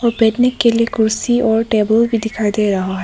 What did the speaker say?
बैठने के लिए कुर्सी और टेबल भी दिखाई दे रहा है।